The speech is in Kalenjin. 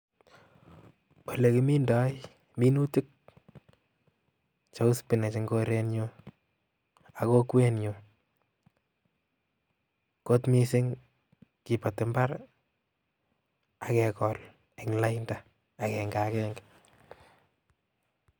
Olekimindoi minutik cheu spinach eng korenyu ak kokwenyu, kot mising ii, kiboti mbar ii, ak kekol eng lainda akenga akenge.